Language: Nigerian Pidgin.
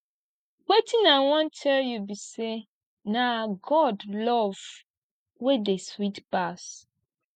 wetin i wan tell you be say na god love wey dey sweet pass